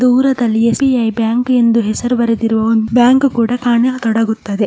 ದೂರದಲ್ಲಿ SBI bank ಎಂದು ಹೆಸರು ಬರೆದಿರುವ ಒಂದ್ ಬ್ಯಾಂಕ್ ಕೂಡ ಕಾಣ ತೊಡಗುತ್ತದೆ.